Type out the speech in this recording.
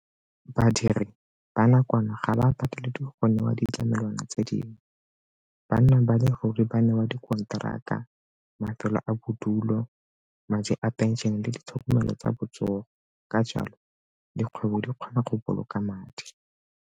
Badiri ba nakwana ga ba pateleditswe go newa ditlamelwana tse dingwe. Banna ba le ruri ba newa dikonteraka, mafelo a bodulo, madi a phenšene le ditlhokomelo tsa botsogo ka jalo dikgwebo di kgona go boloka madi.